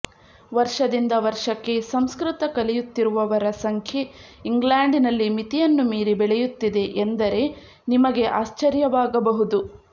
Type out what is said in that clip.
ವರ್ಷದಿಂದ ವರ್ಷಕ್ಕೆ ಸಂಸ್ಕೃತ ಕಲಿಯುತ್ತಿರುವವರ ಸಂಖ್ಯೆ ಇಂಗ್ಲೆಂಡಿನಲ್ಲಿ ಮಿತಿಯನ್ನು ಮೀರಿ ಬೆಳೆಯುತ್ತಿದೆ ಎಂದರೆ ನಿಮಗೆ ಆಶ್ಚರ್ಯವಾಗಬಹುದು